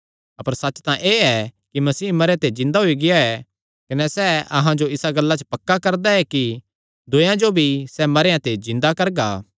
अपर सच्च तां एह़ ऐ कि मसीह मरेयां ते जिन्दा होई गेआ ऐ कने सैह़ अहां जो इसा गल्ला च पक्का करदा ऐ कि दूयेयां जो भी सैह़ मरेयां ते जिन्दा करगा